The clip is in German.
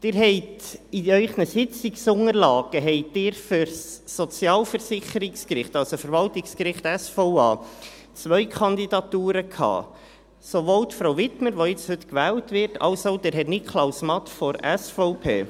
Sie hatten in Ihren Sitzungsunterlagen für das Sozialversicherungsgericht, also für das Verwaltungsgericht, sozialversicherungsrechtliche Abteilung, zwei Kandidaturen: Sowohl jene von Frau Wiedmer, die jetzt heute gewählt wird, als auch jene von Herrn Niklaus Matt von der SVP.